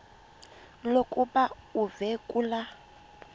lokuba uve kulaa